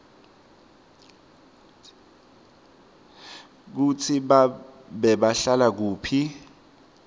kutsi bebahlala kuphi